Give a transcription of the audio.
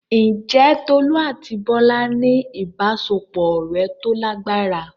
Ǹjẹ́ Tolú àti Bọ́lá ní ìbáṣepọ̀ ọ̀rẹ́ tó lágbára?